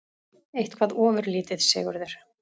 Eitthvað ofurlítið, Sigurður?